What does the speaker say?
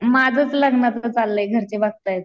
आता माझंच लग्नाचं चाललंय घरचे बघतायेत.